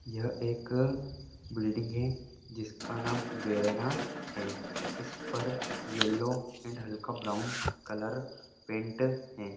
यह एक बिल्डिंग है जिसका नाम वेरेना है इस पर यलो अँड हल्का ब्राउन कलर पेंट है।